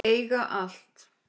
Eiga allt.